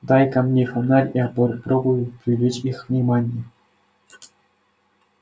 дай-ка мне фонарь я попробую привлечь их внимание